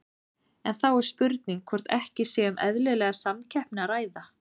En þá er spurt hvort ekki sé um eðlilega samkeppni að ræða?